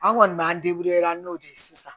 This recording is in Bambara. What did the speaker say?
An kɔni b'an n'o de ye sisan